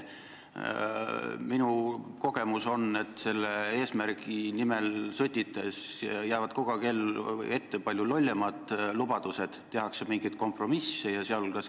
Minu kogemus on, et selle eesmärgi nimel sõdides jäävad kogu aeg ette palju lollimad lubadused, tehakse mingeid kompromisse.